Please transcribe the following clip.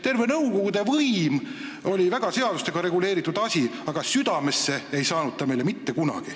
Nõukogude võim oli väga seadustega reguleeritud, aga südamesse ei jõudnud ta meil mitte kunagi.